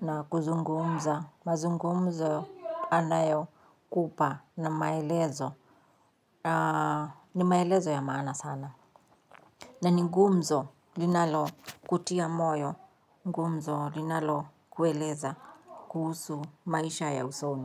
na kuzungumza mazungumzo anayo kupa na maelezo ni maelezo ya maana sana na ni gumzo linalo kutia moyo, gumzo linalo kueleza kuhusu maisha ya usoni.